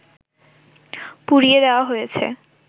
পুড়িয়ে দেয়া হয়েছে